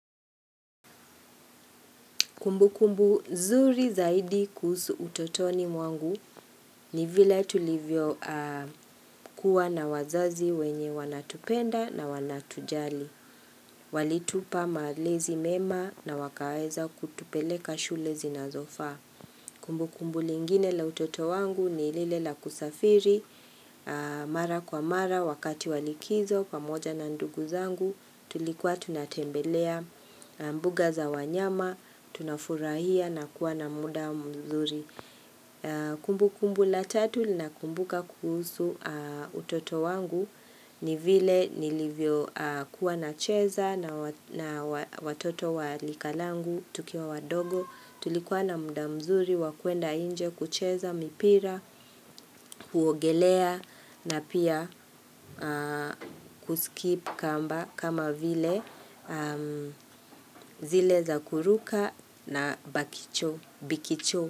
Kumbu kumbu zuri zaidi kuhusu utotoni mwangu ni vile tulivyo kuwa na wazazi wenye wanatupenda na wanatujali. Walitupa malezi mema na wakaeza kutupeleka shule zinazo faa. Kumbu kumbu lingine la utoto wangu ni lile la kusafiri. Mara kwa mara wakati wa likizo pamoja na ndugu zangu tulikuwa tunatembelea. Mbuga za wanyama, tunafurahia na kuwa na muda mzuri Kumbu kumbu la tatu lina kumbuka kuhusu utoto wangu ni vile nilivyo kuwa na cheza nawa na watoto walika langu tukiwa wadogo Tulikuwa na muda mzuri, wakuenda nje, kucheza, mipira, kuogelea na pia kuskip kamba, kama vile zile za kuruka na bakicho, bikicho.